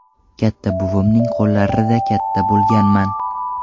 Katta buvimning qo‘llarida katta bo‘lganman.